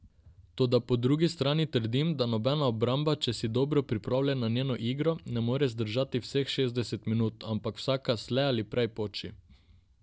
Toda po drugi strani trdim, da nobena obramba, če si dobro pripravljen na njeno igro, ne more zdržati vseh šestdeset minut, ampak vsaka slej ali prej poči.